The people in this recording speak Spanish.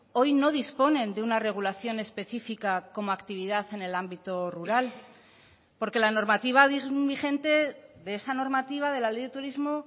hoy no disponen de una regulación específica como actividad en el ámbito rural porque la normativa vigente de esa normativa de la ley de turismo